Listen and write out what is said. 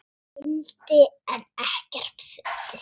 hildi en ekkert fundið.